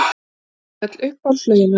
Við öll uppáhaldslögin hennar!